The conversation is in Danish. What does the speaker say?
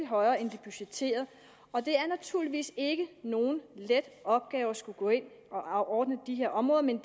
højere end de budgetterede og det er naturligvis ikke nogen let opgave at skulle ind og ordne de her områder men